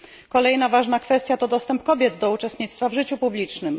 Kolejna ważna kwestia to dostęp kobiet do uczestnictwa w życiu publicznym.